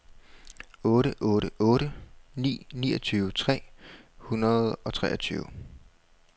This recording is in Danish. otte otte otte ni niogtyve tre hundrede og treogtyve